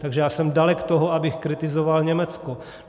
Takže já jsem dalek toho, abych kritizoval Německo.